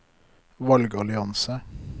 valgallianse